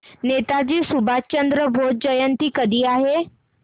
नेताजी सुभाषचंद्र बोस जयंती कधी आहे